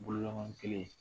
Bolo kelen